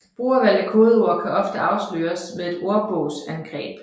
Brugervalgte kodeord kan ofte afsløres med et ordbogsangreb